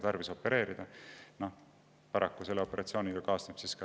Paraku kaasneb sellise operatsiooniga raseduse katkemine.